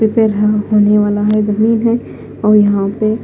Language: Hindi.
जमीन है और यहां पे--